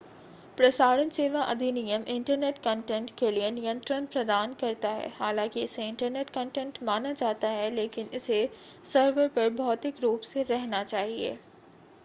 प्रसारण सेवा अधिनियम इंटरनेट कंटेंट के लिए नियंत्रण प्रदान करता है हालांकि इसे इंटरनेट कंटेंट माना जाता है लेकिन इसे सर्वर पर भौतिक रूप से रहना चाहिए